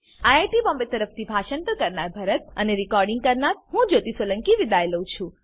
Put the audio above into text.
IIT Bombay તરફથી હું ભરત સોલંકી વિદાય લઉં છું